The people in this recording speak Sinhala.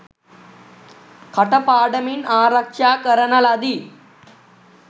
කටපාඩමින් ආරක්ෂා කරන ලදී.